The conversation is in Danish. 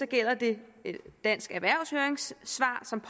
gælder det dansk erhvervs høringssvar som